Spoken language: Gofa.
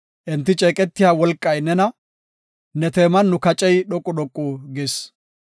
Enti ceeqetiya wolqay nena; ne teeman nu kacey dhoqu dhoqu gis.